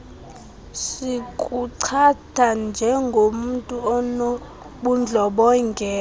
zikuchaza njengomntu onobundlobongela